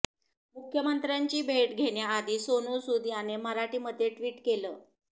मुख्यमंत्र्यांची भेट घेण्याआधी सोनू सूद याने मराठीमध्ये ट्विट केलं